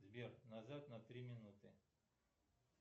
сбер назад на три минуты